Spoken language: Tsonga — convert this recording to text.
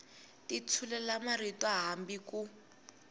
ti tshulela marito hambi ku